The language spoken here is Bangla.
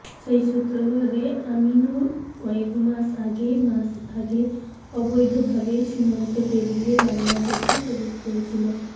সেই সূত্র ধরে আমিনুর কয়েকমাস আগে মাস আগে অবৈধভাবে সীমান্ত পেরিয়ে বাংলাদেশে প্রবেশ করেছিল